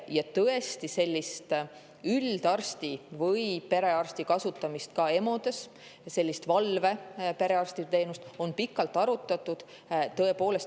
Ja tõesti, üldarsti või perearsti kasutamist EMO-s, valveperearsti teenust on pikalt arutatud.